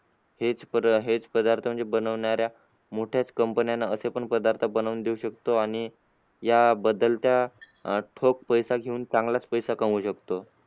हेच पदार्थ पदार्थ म्हणजे बनवणाऱ्या मोठ्याच company ना असे पण पदार्थ बनवून देऊ शकतो. आणि याबद्दल त्या अह ठोक, पैसा घेऊन चांगलाच पैसा कमावू शकतो.